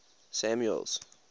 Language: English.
samuel's